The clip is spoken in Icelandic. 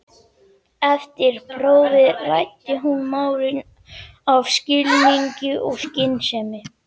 Eftir prófið ræddi hún málin af skilningi og skynsemi.